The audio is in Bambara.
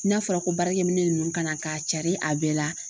N'a fɔra ko baarakɛminɛn ninnu kana k'a cari a bɛɛ la